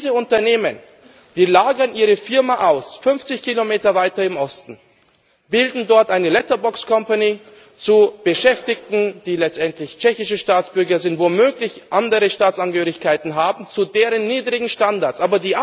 Diese Unternehmen lagern ihre Betriebe aus, 50 km weiter nach Osten. Sie bilden dort eine letterbox company mit Beschäftigten, die letztendlich tschechische Staatsbürger sind, womöglich andere Staatsangehörigkeiten haben, zu deren niedrigen Standards.